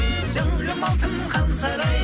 зәулім алтын хан сарай